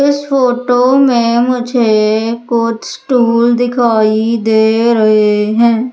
इस फोटो में मुझे कुछ टूल दिखाई दे रहे हैं।